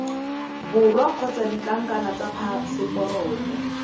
borwa kgotsa ditlankana tsa phaseporoto